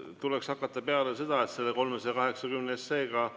Peale tuleks hakata seda, et ootame ära, kuidas selle eelnõu